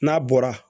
N'a bɔra